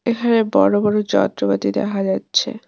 এখানে বড়ো বড়ো যন্ত্রপাতি দেখা যাচ্ছে।